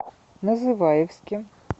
называевске